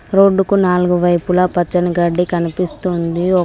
Road కు నాలుగు వైపులా పచ్చని గడ్డి కనిపిస్తుంది.